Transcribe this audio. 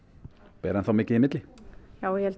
ber enn þá mikið í milli já ég held að